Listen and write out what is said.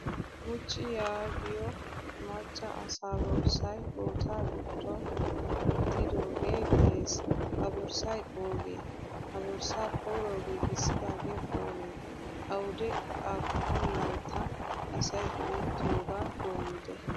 Guchchi yaagiyo macca asa borssay bootta giddon wottidge de'ees. Ha borssay ooge? Ha borssa koyro giigisidage oone? Awude appunnlayttan asay go'ettiyoga doommide?